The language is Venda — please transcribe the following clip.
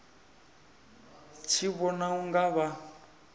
tshi vhona u nga vha